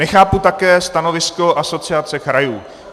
Nechápu také stanovisko Asociace krajů.